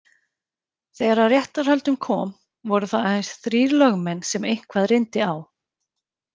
Þegar að réttarhöldum kom voru það aðeins þrír lögmenn sem eitthvað reyndi á.